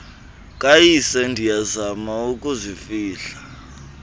kayise ndiyazama ukuzifihla